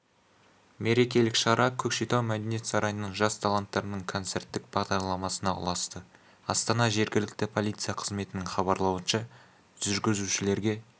мерекелік шара көкшетау мәдениет сарайының жас талантарының концертік бағдарламасына ұласты астана жергілікті полиция қызметінің хабарлауынша жүргізушілерге